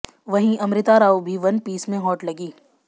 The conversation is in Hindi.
वहीं अमृता राव भी वन पीस में हॉट लगीं